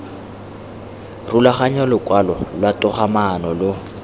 rulaganya lokwalo lwa togamaano lo